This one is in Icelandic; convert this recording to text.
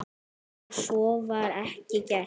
En svo var ekki gert.